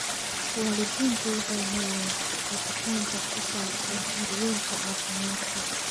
Waalidiintu waxay helaan hagitaan ku saabsan daryeelka caafimaadka.